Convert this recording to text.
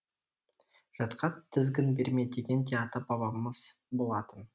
жатқа тізгін берме деген де ата бабамыз болатын